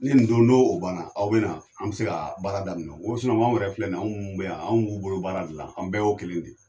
Ni nin dun o banna, aw bɛ na an bɛ se ka baara daminɛ nko anw wɛrɛ filɛ nin ye anw mun bɛ yan, anw b'u bolo baara de la, an bɛɛ y'o kelen de ye.